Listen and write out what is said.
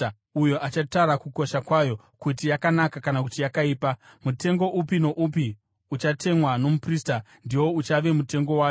uyo achatara kukosha kwayo, kuti yakanaka kana kuti yakaipa. Mutengo upi noupi uchatemwa nomuprista, ndiwo uchave mutengo wayo.